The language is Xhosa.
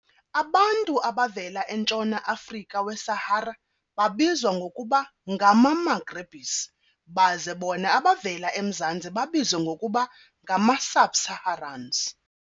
Abantu abavela entshona - Afrika we-Sahara babizwa ngokuba ngama-Maghrebis baze bona abavela emzantsi babizwe ngokuba ngama-Subsaharans.